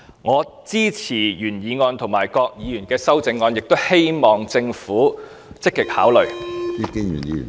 我支持原議案及各議員的修正案，亦希望政府積極考慮當中建議。